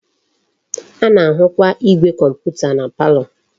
A na-ahukwa igwe komputa na palo.